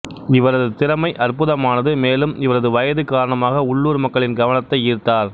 இவரது திறமை அற்புதமானது மேலும் இவரது வயது காரணமாக உள்ளூர் மக்களின் கவனத்தை ஈர்த்தார்